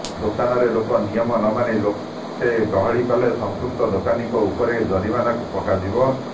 ଦୋକାନରେ ଲୋକେ ନିୟମ ନ ମାନି ଲୋକେ ଗହଳି କଲେ ସମ୍ପୃକ୍ତ ଦୋକାନୀଙ୍କ ଉପରେ ଜରିମାନା ପକାଯିବ